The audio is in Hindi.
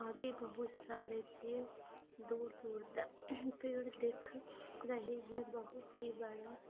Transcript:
आगे बहुत सारे पेड़ दूर-दूर तक पेड़ दिख रहे है बहुत ही बड़े--